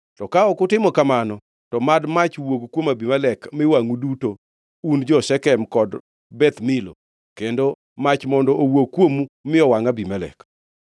To ka ok utimo kamano, to mad mach wuog kuom Abimelek mi wangʼu duto, un jo-Shekem kod Beth Milo, kendo mach mondo owuog kuomu mi owangʼ Abimelek!”